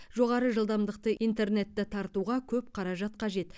жоғары жылдамдықты интернетті тартуға көп қаражат қажет